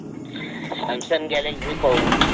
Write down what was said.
Samsung Galaxy पाहू